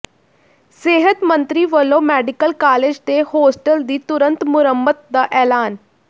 ਸਿਹਤ ਮੰਤਰੀ ਵਲੋਂ ਮੈਡੀਕਲ ਕਾਲਜ ਦੇ ਹੋਸਟਲ ਦੀ ਤਰੁੰਤ ਮੁਰੰਮਤ ਦਾ ਐਲਾਨ